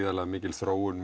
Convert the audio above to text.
mikil þróun